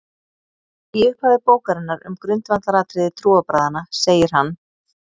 Í upphafi bókarinnar um grundvallaratriði trúarbragðanna segir hann: